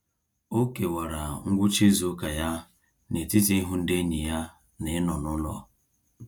O kewara ngwụcha izuụka ya n'etiti ịhụ ndị enyi ya na ịnọ n'ụlọ.